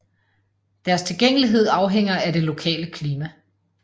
Deres tilgængelighed afhænger af det lokale klima